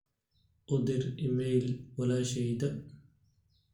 u dir iimayl walasheyda